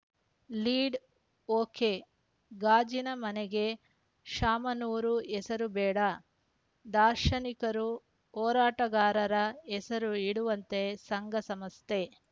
lead okay ಗಾಜಿನ ಮನೆಗೆ ಶಾಮನೂರು ಹೆಸರು ಬೇಡ ದಾರ್ಶನಿಕರು ಹೋರಾಟಗಾರರ ಹೆಸರು ಇಡುವಂತೆ ಸಂಘಸಂಸ್ಥೆ